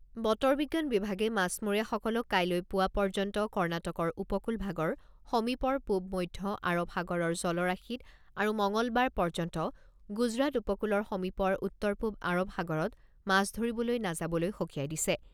বতৰ বিজ্ঞান বিভাগে মাছমৰীয়াসকলক কাইলৈ পুৱা পৰ্যন্ত কৰ্ণাটকৰ উপকূলভাগৰ সমীপৰ পূব মধ্য আৰব সাগৰৰ জলৰাশিত আৰু মঙলবাৰ পৰ্যন্ত গুজৰাট উপকূলৰ সমীপৰ উত্তৰ পূব আৰব সাগৰত মাছ ধৰিবলৈ নাযাবলৈ সকিয়াই দিছে।